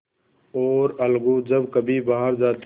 और अलगू जब कभी बाहर जाते